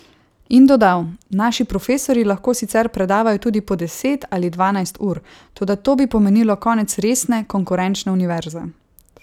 In dodal: 'Naši profesorji lahko sicer predavajo tudi po deset ali dvanajst ur, toda to bi pomenilo konec resne, konkurenčne univerze.